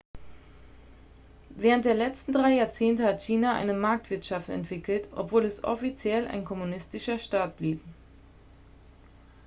während der letzten drei jahrzehnte hat china eine marktwirtschaft entwickelt obwohl es offiziell ein kommunistischer staat blieb